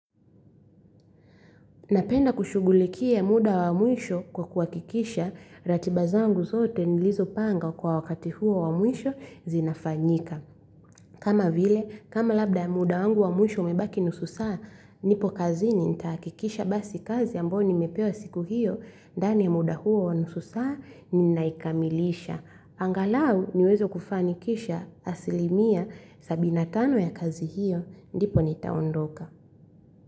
Napenda kushughulikia muda wa mwisho kwa kuwakikisha ratiba zangu zote nilizo panga kwa wakati huo wa mwisho zinafanyika. Kama vile, kama labda muda wangu wa mwisho umebaki nusu saa, nipo kazini nitahakikisha basi kazi ambayo nimepewa siku hiyo, ndani ya muda huo wa nusu saa ninaikamilisha. Angalau niweze kufanikisha asili mia sabini na tano ya kazi hiyo, ndipo nitaondoka.